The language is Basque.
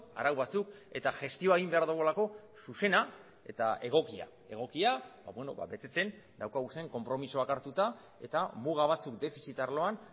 arau batzuk eta gestioa egin behar dugulako zuzena eta egokia egokia betetzen daukagun konpromisoak hartuta eta muga batzuk defizit arloan